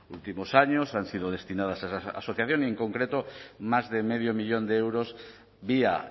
últimos años han sido destinados a esa asociación y en concreto más de medio millón de euros vía